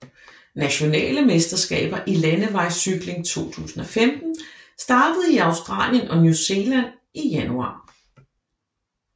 Nationale mesterskaber i landevejscykling 2015 startede i Australien og New Zealand i januar